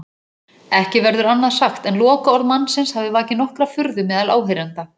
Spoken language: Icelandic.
Ekki verður annað sagt en lokaorð mannsins hafi vakið nokkra furðu meðal áheyrenda.